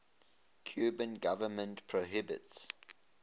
cuban government prohibits